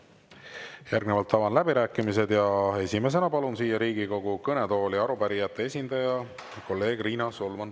Järgnevalt avan läbirääkimised ja esimesena palun siia Riigikogu kõnetooli arupärijate esindaja kolleeg Riina Solmani.